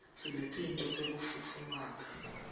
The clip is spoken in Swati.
sinetinto tekufutfumata